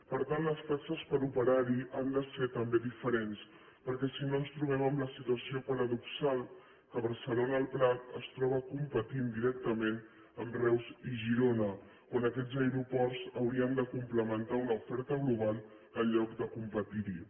per tant les taxes per operar hi ha de ser també diferents perquè si no ens trobem amb la situació paradoxal que barcelona el prat es troba competint directament amb reus i girona quan aquests aeroports haurien de complementar una oferta global en lloc de competir hi